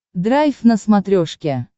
драйв на смотрешке